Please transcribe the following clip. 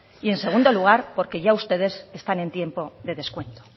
y en segundo lugar porque ya ustedes están en tiempo de descuento